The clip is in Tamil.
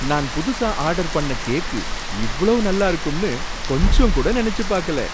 நான் புதுசா ஆர்டர் பண்ண கேக்கு இவளோ நல்லா இருக்கும்னு கொஞ்சம் கூட நனைச்சுபாக்கல!